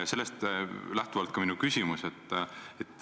Sellest lähtub ka minu küsimus.